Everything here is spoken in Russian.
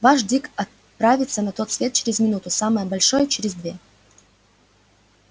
ваш дик отправится на тот свет через минуту самое большее через две